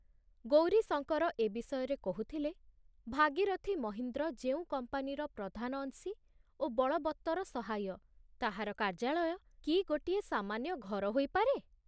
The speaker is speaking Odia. ଗୌରୀଶଙ୍କର ଏ ବିଷୟରେ କହୁଥିଲେ, ଭାଗୀରଥି ମହୀନ୍ଦ୍ର ଯେଉଁ କମ୍ପାନୀର ପ୍ରଧାନ ଅଂଶୀ ଓ ବଳବତ୍ତର ସହାୟ, ତାହାର କାର୍ଯ୍ୟାଳୟ କି ଗୋଟିଏ ସାମାନ୍ୟ ଘର ହୋଇପାରେ